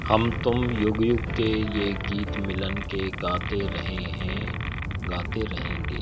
हम तुम युग युग के यह गीत मिलन के गाते रहे हैं गाते रहेंगे।